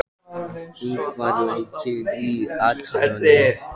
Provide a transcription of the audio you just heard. Maj, lækkaðu í hátalaranum.